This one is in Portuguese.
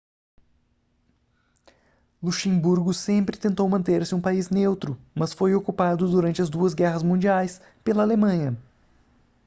luxemburgo sempre tentou manter-se um país neutro mas foi ocupado durante as duas guerras mundiais pela alemanha